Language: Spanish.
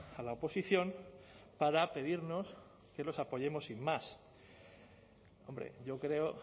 a la oposición para pedirnos que los apoyemos sin más hombre yo creo